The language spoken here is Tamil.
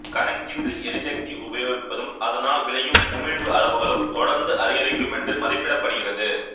கணக்கின்றி எரிசக்தி உபயோகிப்பதும் அதனால் விளையும் உமிழ்வு அளவுகளும் தொடர்ந்து அதிகரிக்கும் என்று மதிப்பிடப்படுகிறது